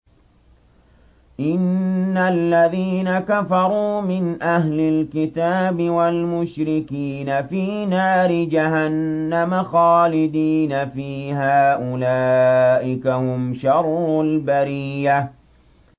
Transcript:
إِنَّ الَّذِينَ كَفَرُوا مِنْ أَهْلِ الْكِتَابِ وَالْمُشْرِكِينَ فِي نَارِ جَهَنَّمَ خَالِدِينَ فِيهَا ۚ أُولَٰئِكَ هُمْ شَرُّ الْبَرِيَّةِ